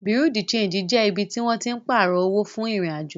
Bùréáù de ṣéńjì jẹ ibi tí wọ́n tín pààrọ̀ owó fún ìrìn-àjò